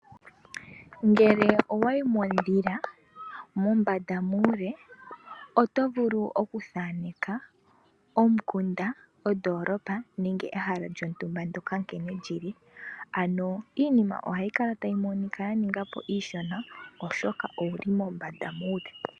Ngele owa yi modhila mombanda muule, oto vulu okuthaneka omukunda, ondolopa, nenge ehala lyontumba ndoka nkene lyili. Ano iinima ohayi kala tayi monika ya ningapo iishona oshoka owuli mombanda muule.